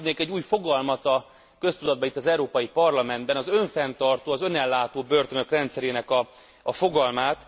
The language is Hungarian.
És itt bedobnék egy új fogalmat a köztudatba, itt az Európai Parlamentben az önfenntartó, az önellátó börtönök rendszerének a fogalmát.